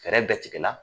Fɛɛrɛ bɛɛ tigɛ la